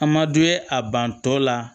A ma d'u ye a bantɔ la